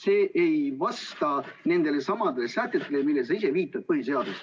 See ei vasta nendele põhiseaduse paragrahvidele, millele sa viitad.